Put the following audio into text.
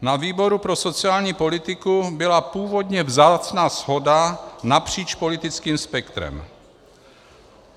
Na výboru pro sociální politiku byla původně vzácná shoda napříč politickým spektrem.